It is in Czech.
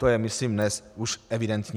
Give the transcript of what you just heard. To je, myslím, dnes už evidentní.